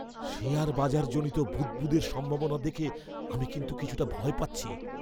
Share বাজারজনিত বুদ্বুদের সম্ভাবনা দেখে আমি কিন্তু কিছুটা ভয় পাচ্ছি।